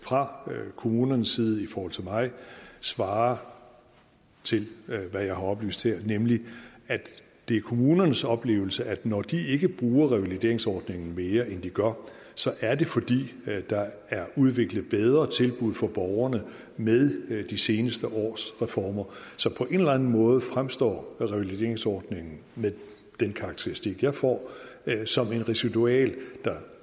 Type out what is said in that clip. fra kommunernes side i forhold til mig svarer til hvad jeg har oplyst her nemlig at det er kommunernes oplevelse at når de ikke bruger revalideringsordningen mere end de gør så er det fordi der er udviklet bedre tilbud for borgerne med de seneste års reformer så på en eller anden måde fremstår revalideringsordningen med den karakteristik jeg får som et residual der